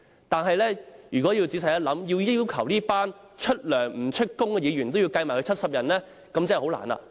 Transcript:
但如果仔細想一想，要求把這些出糧不出勤的議員，算入70人內，便真的很困難。